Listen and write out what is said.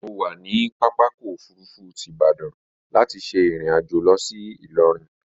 Mo wà ní pápákọ̀ òfurufú ti Ìbadan láti ṣe ìrìnàjò lọ sí Ìlọrin